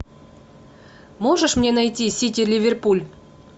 можешь мне найти сити ливерпуль